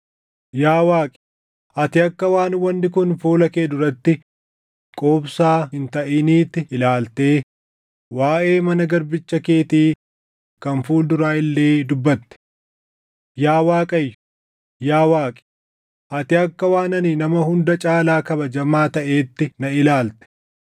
Yaa Waaqi, ati akka waan wanni kun fuula kee duratti quubsaa hin taʼiniitti ilaaltee waaʼee mana garbicha keetii kan fuul duraa illee dubbatte. Yaa Waaqayyo, yaa Waaqi, ati akka waan ani nama hunda caalaa kabajamaa taʼeetti na ilaalte.